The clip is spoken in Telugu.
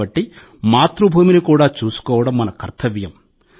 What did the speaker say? కాబట్టి మాతృభూమిని కూడా చూసుకోవడం మన కర్తవ్యం